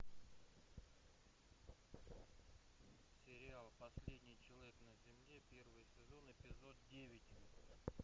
сериал последний человек на земле первый сезон эпизод девять